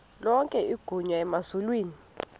lonke igunya emazulwini